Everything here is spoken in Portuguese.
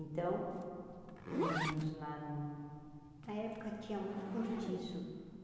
Então, moramos lá no... Na época tinha muito curtiço.